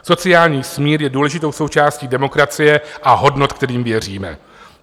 Sociální smír je důležitou součástí demokracie a hodnot, kterým věříme.